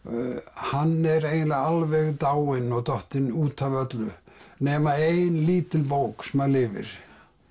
hann er eiginlega alveg dáinn og dottinn út af öllu nema ein lítil bók sem að lifir